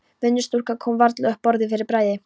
Vinnustúlkan kom varla upp orði fyrir bræði.